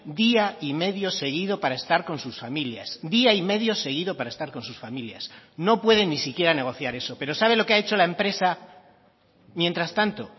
día y medio seguido para estar con sus familias día y medio seguido para estar con sus familias no pueden ni siquiera negociar eso pero sabe lo que ha hecho la empresa mientras tanto